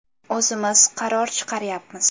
O‘zimiz qaror chiqaryapmiz.